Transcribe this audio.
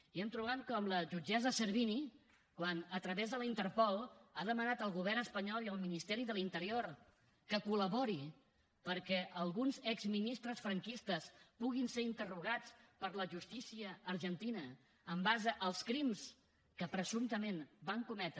i s’han trobat que quan la jutgessa servini a través de la interpol ha demanat al govern espanyol i al ministeri de l’interior que col·laborin perquè alguns exministres franquistes puguin ser interrogats per la justícia argentina en base als crims que presumptament van cometre